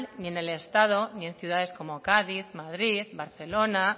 ni en el estado ni en ciudades como cádiz madrid barcelona